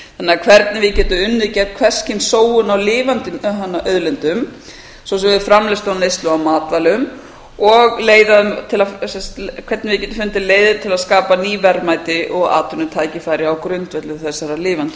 hvernig við getum unnið gegn hvers kyns sóun á lifandi auðlindum svo sem við framleiðslu og neyslu á matvælum og hvernig við getum fundið leiðir til að skapa ný verðmæti og atvinnutækifæri á grundvelli þessara lifandi